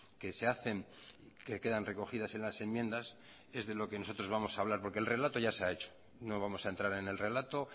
que se hacen que quedan recogidas en las enmiendas es de lo que nosotros vamos a hablar porque el relato ya se ha hecho no vamos a entrar en el relato